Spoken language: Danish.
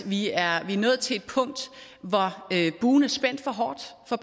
vi er nået til et punkt hvor buen er spændt for hårdt for